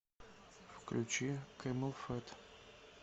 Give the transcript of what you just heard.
включи кэмелфэт